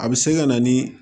A bɛ se ka na ni